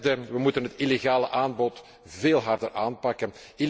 Ten derde, we moeten het illegale aanbod veel harder aanpakken.